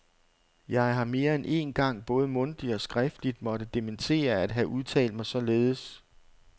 Jeg har mere end én gang både mundtligt og skriftligt måtte dementere at have udtalt mig således.